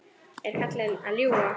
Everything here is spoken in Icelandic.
Er ekki karlinn að ljúga?